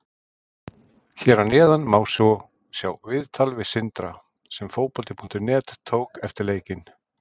Hér að neðan má svo sjá viðtal við Sindra sem Fótbolti.net tók eftir leikinn.